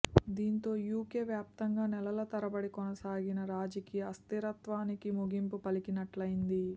దీంతో యూకే వ్యాప్తంగా నెలల తరబడి కొనసాగిన రాజకీయ అస్థిరత్వానికి ముగింపు పలికినట్లయింది